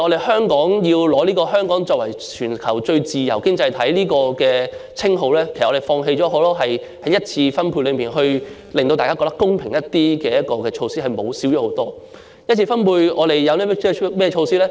香港要取得作為全球最自由經濟體的稱號，我們是要放棄很多在一次分配中可令大家感到較公平的措施，以致這些措施大為減少。